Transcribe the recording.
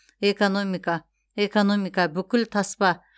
экономика экономика бүкіл таспа